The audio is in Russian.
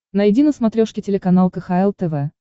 найди на смотрешке телеканал кхл тв